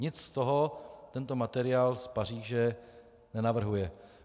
Nic z toho tento materiál z Paříže nenavrhuje.